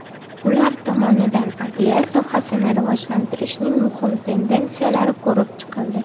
Ular tomonidan adliya sohasini rivojlantirishning muhim tendensiyalari ko‘rib chiqildi.